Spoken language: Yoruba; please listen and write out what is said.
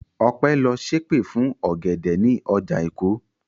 Ọpẹ́ lọ ṣèpè fún ọ̀gẹ̀dẹ̀ ní ọjà Èkó.